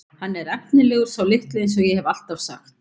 Hann er efnilegur sá litli eins og ég hef alltaf sagt.